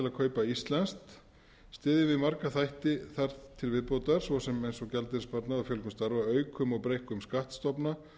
kaupa íslenskt styðjum við marga þætti þar til viðbótar svo sem eins og gjaldeyrissparnað og fjölgun starfa aukum og breikkum skattstofna